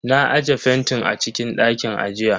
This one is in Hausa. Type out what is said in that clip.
Na aje fentin a cikin dakin ajiya.